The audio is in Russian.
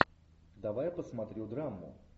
давай я посмотрю драму